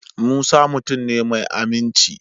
Musa mutum ne mai aminci.